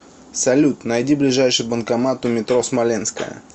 салют найди ближайший банкомат у метро смоленская